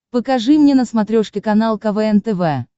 покажи мне на смотрешке канал квн тв